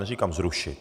Neříkám zrušit.